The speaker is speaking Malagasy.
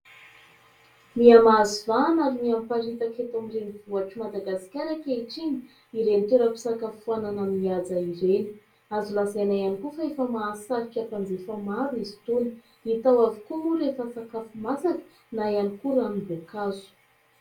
Mihamahazo vahana ary mihamiparitaka eto amin'ny renivohitr'i Madagasikara ankehitriny ireny toeram-pisakafoanana mihaja ireny. Azo lazaina ihany koa fa efa mahasarika mpanjifa maro izy itony. Hita ao avokoa moa rehefa sakafo masaka na ihany koa ranom-boankazo.